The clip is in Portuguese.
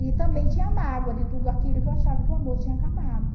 E também tinha mágoa de tudo aquilo porque eu achava que o amor tinha acabado.